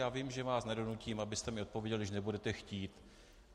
Já vím, že vás nedonutím, abyste mi odpověděl, když nebudete chtít.